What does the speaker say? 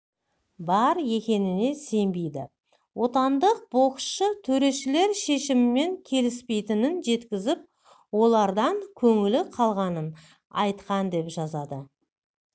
бар екеніне сенбейді отандық боксшы төрешілер шешімімен келіспейтініін жеткізіп олардан көңілі қалғанын айтқан деп жазады